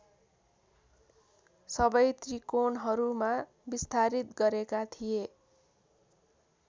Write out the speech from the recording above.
सबै त्रिकोणहरूमा विस्तारित गरेका थिए